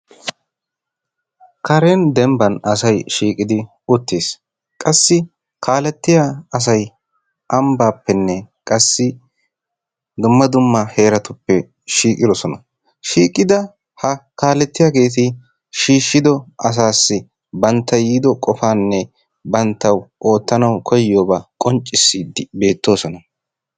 Karen denbbaan asay shiiqidi uttiis. qassi kalettiyaa asay anbbaappenne qassi dumma dumma heraatuppe shiiqidoosona. Shiiqida ha kaalettiyaageti shiishido asaasi bantta yiido qofaanne banttawu oottanawu koyyiyoobaa qoncciisidi beettoosona.